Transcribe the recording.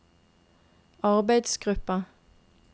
arbeidsgruppa